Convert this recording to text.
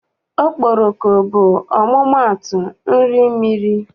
Okporoko bụ ọmụmaatụ nri mmiri.